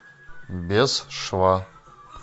без шва